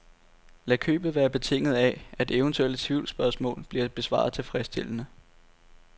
Lad købet være betinget af at eventuelle tvivlsspørgsmål bliver besvaret tilfredsstillende.